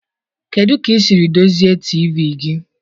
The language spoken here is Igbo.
Kedu ka ị siri dozie TV gị